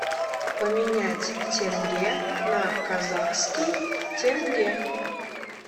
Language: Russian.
поменять тенге на казахский тенге